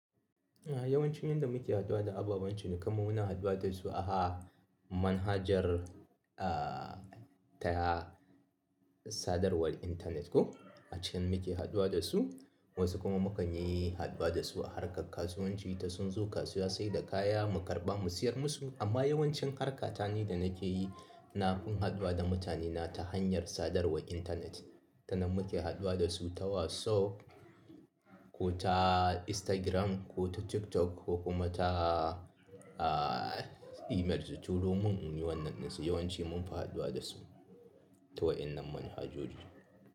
Yawancin yanda muke haduwa da ababan cinikanmu muna haduwa da su a manhajar, ta sadarwar internet ko a can muke haduwa da su. Wasu kuma mukan yi haduwa da su a harkar kasuwanci, ta sun zo kasuwa sai da kaya mu karɓa mu siyar musu. Amma yawancin harkata ni da nake yi na fin haduwa da mutanena ta hanyar sadarwar internet. Ta nan muke haduwa da su ta WhatsApp ko ta Instagram ko ta TikTok ko kuma ta email. Turomin in yi wannan ɗinsu yawanci munfi haduwa da su ta wa'innan manhajoji.